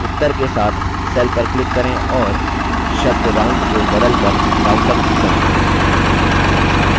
उत्तर के साथ cell पर click करें और शब्द round को बदल कर roundup करें